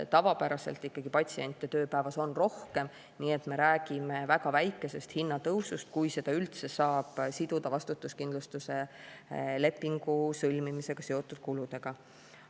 Tavapäraselt on patsiente tööpäeva jooksul ikkagi rohkem, nii et me räägime väga väikesest hinnatõusust, kui seda üldse saab siduda vastutuskindlustuse lepingu sõlmimisega seotud kuludega.